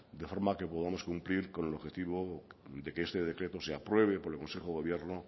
de forma que podamos cumplir con el objetivo de que este decreto se apruebe por el consejo de gobierno